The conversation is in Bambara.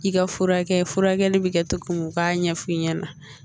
I ka furakɛ furakɛli bɛ kɛ cogo mun u k'a ɲɛfɔ i ɲɛna